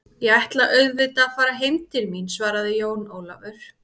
Ég ætla auðvitað að fara heim til mín, svaraði Jón Ólafur.